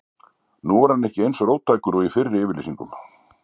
Nú er hann ekki eins róttækur og í fyrri yfirlýsingum.